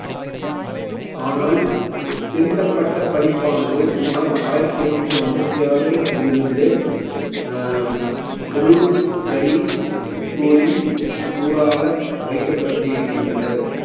ஆனால் திருத்தப்பட்ட பதிப்பானது சுமார் ஆயிரத்தி எட்நூத்தி ஐம்பத்தி ஆறில் இருந்து அஹ் roof berry school ன் நூலாக வைக்கப்பட்டிருக்கின்றன